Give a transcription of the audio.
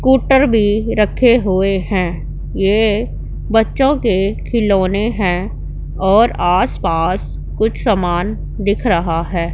Scooter भी रखे हुए हैं ये बच्चों के खिलौने हैं और आस पास कुछ समान दिख रहा है।